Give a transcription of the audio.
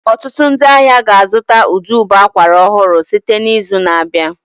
Ọtụtụ ndị ahịa ga-azụta ụdị ụbọ akwara ọhụrụ site n'izu na-abịa